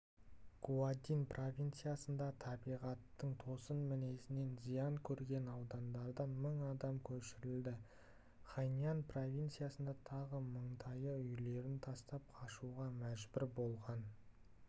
гуандин провинциясында табиғаттың тосын мінезінен зиян көрген аудандардан мың адам көшірілді хайнань провинциясында тағы мыңдайы үйлерін тастап қашуға мәжбүр болған